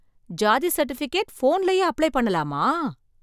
சாதி சர்டிபிகேட் போன்லயே அப்ளை பண்ணலாமா?